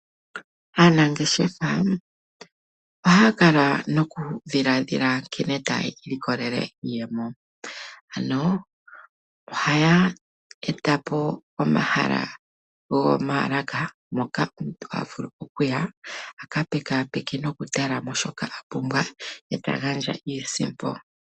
Aanangeshefa ohaya kala nokudhiladhila nkene taya ilikolele iiyemo ano ohaya etapo omahala gomaalaka mpoka omuntu tavulu okuya aka pekaapeke nokutalomo shoka apumbwa ee tagandja iisimpo.